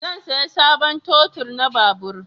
Zan saya sabon totul na babur